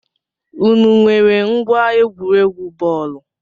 Ụnụ nwèrè ngwa egwuregwu bọọlu?